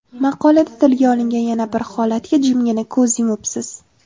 Maqolada tilga olingan yana bir holatga jimgina ko‘z yumibsiz.